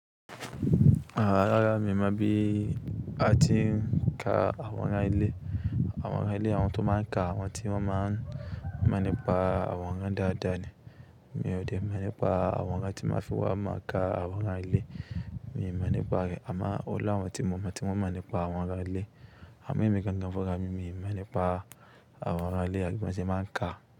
Rára mi mọ bí a ti ń ka àworan ilẹ̀. Àworan ilẹ̀ àwọn tó máa ń ka àwọn tí wọ́n máa ń máa ń nípa àwọn ọ̀rọ̀ dáadáa ni. Èmi ò dé máa ń nípa àworan tí máa fi wá máa ka àwọn ọ̀rọ̀ ilẹ̀. Èmi máa ń nípa rẹ̀, àmọ́ ó lá àwọn tí mo mọ̀, tí wọ́n máa ń nípa àwọn ọ̀rọ̀ ilẹ̀. Àmọ́ èmi gangan fún ara mi, èmi máa ń nípa àwọn ọ̀rọ̀ ilẹ̀ àbí mo tí máa ń ka.